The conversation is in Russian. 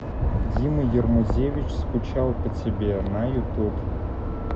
дима ермузевич скучал по тебе на ютуб